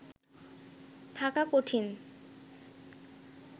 থাকা কঠিন